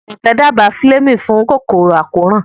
Jumoke dábàá Fleming fún kòkòrò àkóràn.